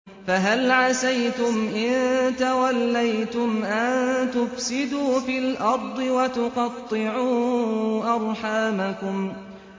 فَهَلْ عَسَيْتُمْ إِن تَوَلَّيْتُمْ أَن تُفْسِدُوا فِي الْأَرْضِ وَتُقَطِّعُوا أَرْحَامَكُمْ